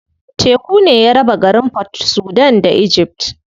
Teku ne ya raba garin Port Sudan da Egypt.